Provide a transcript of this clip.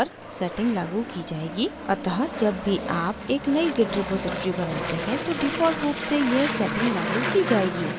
अतः जब भी आप एक नयी git repository बनाते हैं तो default रूप से यह setting लागू की जाएगी